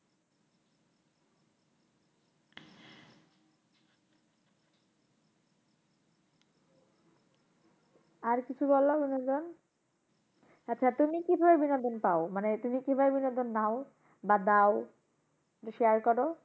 আর কিছু বলো বিনোদন আচ্ছা তুমি কিভাবে বিনোদন পাও? মানে তুমি কিভাবে বিনোদন নাও বা দাও? একটু share করো।